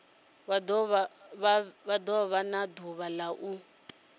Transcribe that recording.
do vha ḓuvha la u